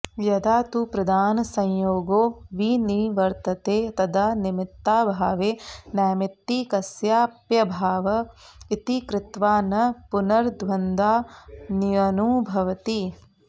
यदा तु प्रधानसंयोगो विनिवर्तते तदा निमित्ताभावे नैमित्तिकस्याप्यभाव इति कृत्वा न पुनर्द्वन्द्वान्यनुभवति